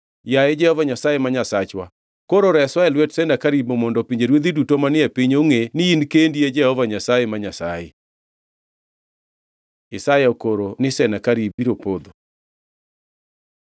Yaye Jehova Nyasaye ma Nyasachwa, koro reswa e lwet Senakerib mondo pinjeruodhi duto manie piny ongʼe ni in kendi e Jehova Nyasaye, ma Nyasaye.” Isaya okoro ni Senakerib biro podho